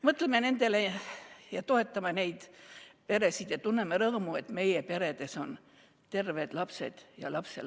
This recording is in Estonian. Mõtleme nendele peredele ja toetame neid ning tunneme rõõmu, et meie peredes on terved lapsed ja lapselapsed.